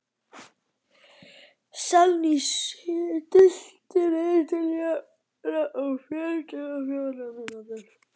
Salný, stilltu niðurteljara á fjörutíu og fjórar mínútur.